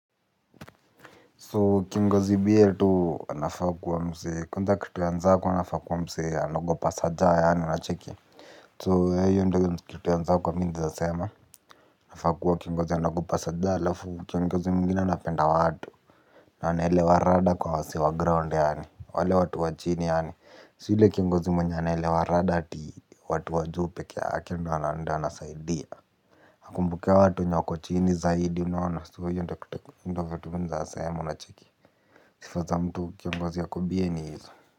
So kingozi b.a tu anafaa kuwa msee kwanza kitu ya kwanza anafaa kuwa msee anaogopa sir jah yaani unacheki so hiyo ndio kitu ya nzako mimi nawezasema. Anafa akuwa kingozi anagopa sir jah alafu kiongozi mwingine anapenda watu. Anaelewa rada kwa wasee wa ground yaani, wale watu wa chini yaani sio ule kiongozi mwenye anelewa rada ati watu wa juu pekee yake ndio anasaidia. Hakumbuki watu wenye wako chini zaidi unaona so hiyo ndio kitu, vitu mimi naweza sema una cheki. Sifa za mtu kiongozi ako bie ni hizo.